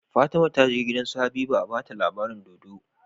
Fatima taje gidan su habiba a bata labarin dodo